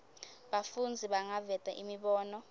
bafundzi bangaveta imibono